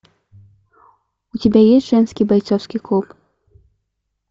у тебя есть женский бойцовский клуб